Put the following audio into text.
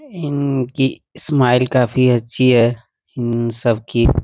इनकी स्माइल काफी अच्छी है इन सबकी।